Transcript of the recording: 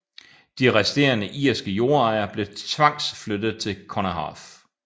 De resterende irske jordejere blev tvangsflyttet til Connaught